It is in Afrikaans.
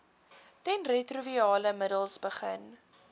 teenretrovirale middels begin